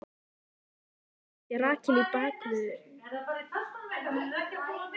Hvernig datt þér í hug að setja Rakel í bakvörðinn?